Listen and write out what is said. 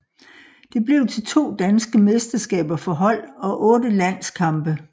Det blev til to danske mesterskaber for hold og otte landskampe